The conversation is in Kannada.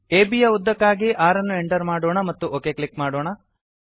ಅಬ್ ಯ ಉದ್ದಕ್ಕಾಗಿ 6 ಅನ್ನು ಎಂಟರ್ ಮಾಡೋಣ ಮತ್ತು ಒಕ್ ಕ್ಲಿಕ್ ಮಾಡೋಣ